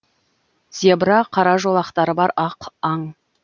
зебра қара жолақтары бар ақ аң